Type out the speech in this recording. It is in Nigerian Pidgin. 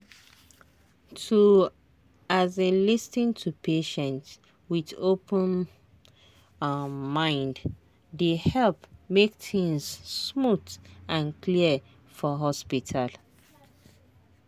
to um lis ten to patient with open um mind dey help make things smooth and clear for hospital.